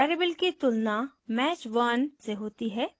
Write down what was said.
variable की तुलना match _ 1 से होती है